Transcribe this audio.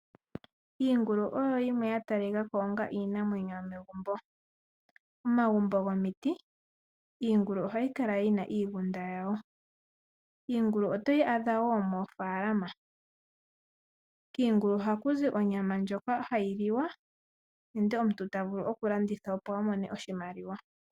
Iingulu oyo yimwe ya tali ka ko onga iinamwenyo yomegumbo. Omagumbo gomiti iingulu ohayi kala miigunda yawo. Iingulu ohayi kala wo moofaalama. Kiingulu ohaku zi onyama ndjoka hayi liwa nenge omuntu ta vulu oku landitha opo amone oshimaliwa.